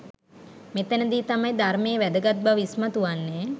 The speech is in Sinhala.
මෙතැන දී තමයි ධර්මයේ වැදගත් බව ඉස්මතු වන්නේ.